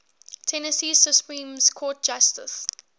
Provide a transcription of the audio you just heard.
tennessee supreme court justices